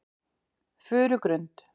Furugrund